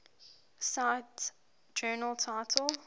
cite journal title